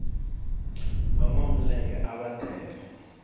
vanwa milenge ava tele